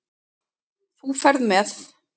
Þú ferð með